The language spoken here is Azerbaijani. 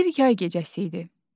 Bir yay gecəsi idi.